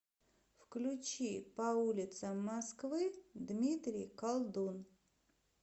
включи по улицам москвы дмитрий колдун